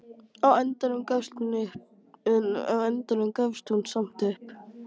Á endanum gafst hún samt upp.